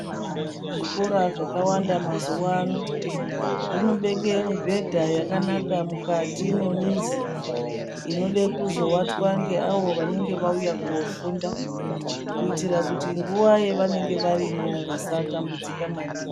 Zvikira zvakawanda mazuvano zvinobeke mibhedha yakanaka mukati memizi inode kuzovatwa nge avo vanenge vauya kofunda, kuitira kuti nguwa yavanenge varimo vasatambudzika maningi.